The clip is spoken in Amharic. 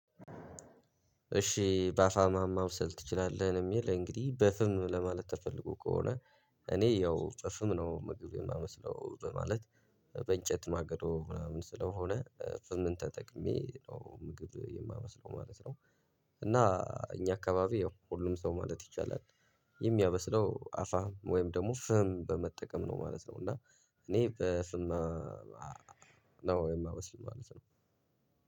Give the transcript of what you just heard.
እሺ ባፋማ ማብሰል ትችላለህ ነው የሚል እንግዲህ በፍም ለማለት ተፈልጎ ከሆነ። እኔ ያው በፍም ነው ምግብ የማመስለው በማለት። በእንጨት ማገዶ ምናምን ስለሆነ ፍምን ተጠቅሜ ነው ምግብ የማበስለው ማለት ነው። እና እኛ አካባቢ ያው ሁሉም ሰው ማለት ይቻላል። የሚያበስለው አፋ ወይም ደግሞ ፍም በመጠቀም ነው ማለት ነው። እና እኔ በፍም ነው የማበስለው ማለት ነው።